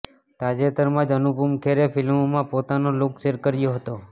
તાજેતરમાં જ અનુપમ ખેરે ફિલ્મમાં પોતાનો લુક શૅર કર્યો હતો